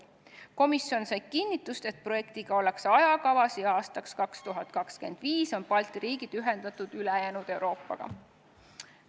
Komisjon sai kinnitust, et projektiga ollakse ajakavas ja aastaks 2025 on Balti riigid elektrisüsteemide mõttes ülejäänud Euroopaga ühendatud.